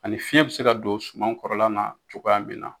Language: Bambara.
Ani fiɲɛ be se ka don suman kɔrɔla na cogoya min na